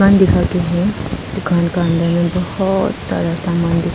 दिखा के हु दुकान के अंदर में बहुत सारा सामान दिखा--